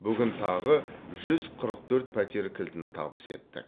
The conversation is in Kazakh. бүгін тағы жүз қырық төрт пәтер кілтін табыс еттік